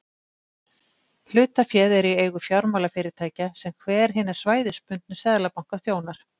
Hlutaféð er í eigu fjármálafyrirtækja sem hver hinna svæðisbundnu seðlabanka þjónar.